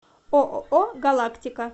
ооо галактика